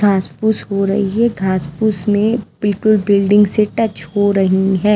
घासपूस हो रही है घासपूस में बिल्कुल बिल्डिंग से टच हो रही है।